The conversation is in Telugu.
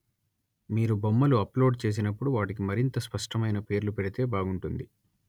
మీరు బొమ్మలు అప్‌లోడ్ చేసినప్పుడు వాటికి మరింత స్పష్టమైన పేర్లు పెడితే బాగుంటుంది